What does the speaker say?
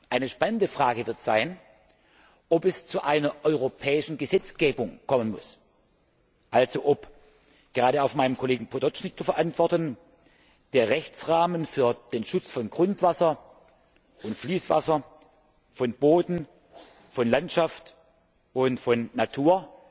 Eine spannende Frage wird sein, ob es zu einer europäischen Gesetzgebung kommen muss, also ob gerade auch von meinem Kollegen Potočnik zu verantworten der Rechtsrahmen für den Schutz von Grundwasser und Fließwasser, von Boden, von Landschaft und Natur,